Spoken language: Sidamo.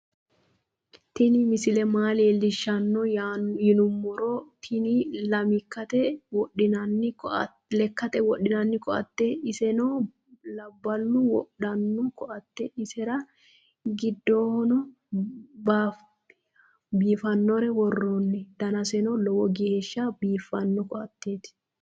tinni misile maa lelishano yinumoro tinni lemkate wodhinani koateti isenno labalu wodhano koateti isera gindeho bafanore woronni daanaseno loowo gesha bifano koateti.